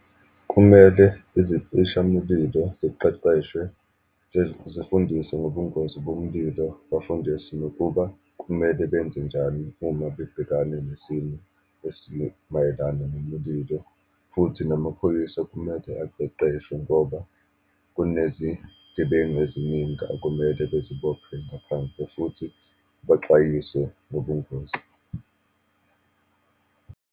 Kumele izicishamulilo ziqeqeshwe, zifundiswe ngobungozi bomulilo, bafundiswe nokuba kumele benze njani uma bebhekane nesimo esimayelana nemuililo leyo, futhi namaphoyisa kumele aqeqeshwe, ngoba kunezigebengu eziningi okumele bezibopho ngaphandle, futhi baxwayiswe ngobungozi.